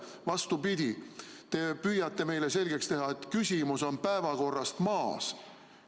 Vastupidi, te püüate meile selgeks teha, et küsimus on päevakorrast maas.